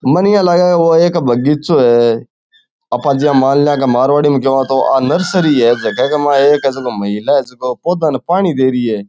मन यान लागे ओ एक बगीचों है आपा ज्यान मानला के मारवाड़ी में केवा तो आ एक नर्सरी है जका के मा एक महिला है जको पौधों ने पानी दे रही है।